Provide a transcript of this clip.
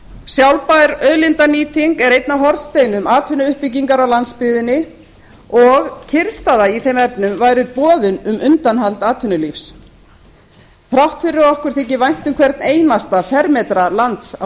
sjálfbær auðlindanýting er einn af hornsteinum atvinnuuppbyggingar á landsbyggðinni og kyrrstaða í þeim efnum væri boðun um undanhald atvinnulífs þrátt fyrir að okkur þyki vænt um hvern einasta fermetra lands á